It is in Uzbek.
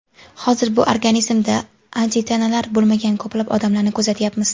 Hozir bir organizmida antitanalar bo‘lmagan ko‘plab odamlarni kuzatyapmiz.